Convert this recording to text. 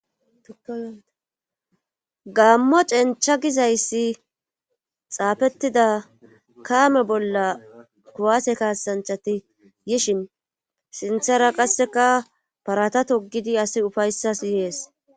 gammo cencha gizayssi xaafettida kaame bolla kuwaase kaasanchati yishin sinthara qasseka parata togidi asi ufayssas yees